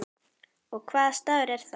Og hvaða staður er það?